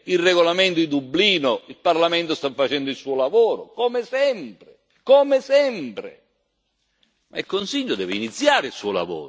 il regolamento di Dublino il Parlamento sta facendo il suo lavoro come sempre e il Consiglio deve iniziare il suo!